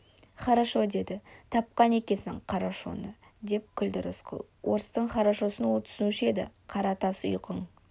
хорошо деді тапқан екенсің қарошоны деп күлді рысқұл орыстың хорошосын ол түсінуші еді қара тас ұйқың